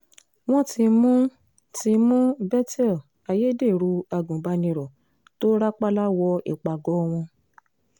wọ́n ti mú ti mú bethel ayédèrú agùnbánirò tó rápálá wọ ìpàgọ́ wọn